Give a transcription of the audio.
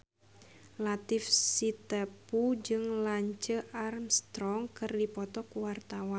Latief Sitepu jeung Lance Armstrong keur dipoto ku wartawan